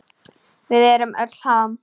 Við erum öll Ham!